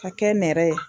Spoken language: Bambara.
Ka kɛ nɛrɛ ye